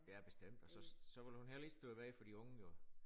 Ja bestemt og så så vil hun heller ikke stå i vej for de unge jo